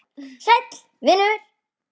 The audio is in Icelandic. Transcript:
Sæll vinur